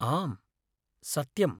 आम्, सत्यम्।